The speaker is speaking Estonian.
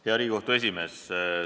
Hea Riigikogu esimees!